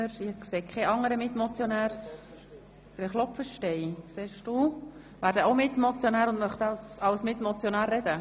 Etienne Klopfenstein spricht ebenfalls als Mitmotionär.